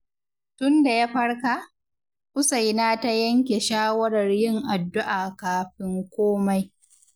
Tunda ya farka, Usaina ta yanke shawarar yin addu’a kafin komai.